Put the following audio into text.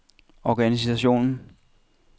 organisationen